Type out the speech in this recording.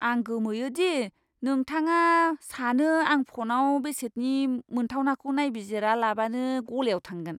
आं गोमोयो दि नोंथाङा सानो आं फ'नाव बेसादनि मोनथावनाखौ नायबिजिरालाबानो गलायाव थांगोन।